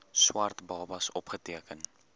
swart babas opgeteken